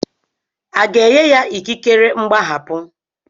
A ga-enye ya ikikere mgbaghapụ?